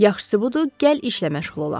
Yaxşısı budur, gəl işlə məşğul olaq.